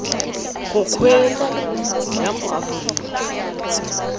go kgweetsa ya mo aforika